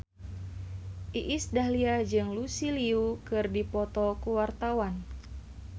Iis Dahlia jeung Lucy Liu keur dipoto ku wartawan